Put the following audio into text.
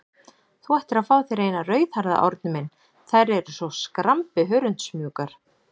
Þú ættir að fá þér eina rauðhærða, Árni minn, þær eru svo skrambi hörundsmjúkar.